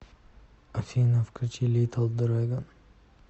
афина включи литл драгон